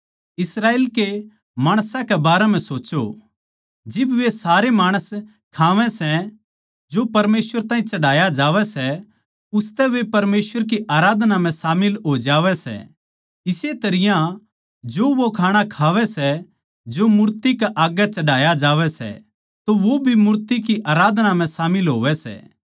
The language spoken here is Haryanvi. इस्राएल के माणसां के बारें म्ह सोच्चों जिब वे सारे माणस खावै सै जो परमेसवर ताहीं चढ़ाया जावै सै उसतै वे परमेसवर की आराधना म्ह शामिल हो जावै सै इस्से तरियां जो वो खाणा खावै सै जो मूर्ति कै आग्गै चढ़ाया जावै सै तो वो भी मूर्ति की आराधना म्ह शामिल होवै सै